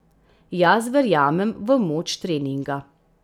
Jaz verjamem v moč treninga.